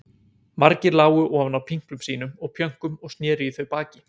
Margir lágu ofan á pinklum sínum og pjönkum og sneru í þau baki.